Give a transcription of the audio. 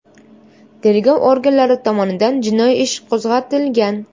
Tergov organlari tomonidan jinoiy ish qo‘zg‘atilgan.